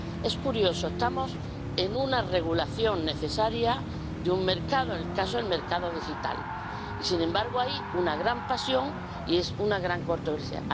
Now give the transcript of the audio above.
Es curioso, estamos ante una regulación necesaria de un mercado —el mercado digital— y, sin embargo, hay una gran pasión y una gran controversia.